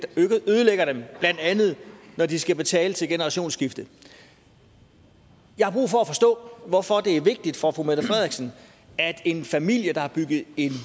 ødelægger dem blandt andet ved at de skal betale til et generationsskifte jeg har brug for at forstå hvorfor det er vigtigt for fru mette frederiksen at en familie der har bygget en